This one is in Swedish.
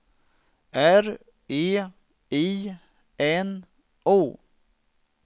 R E I N O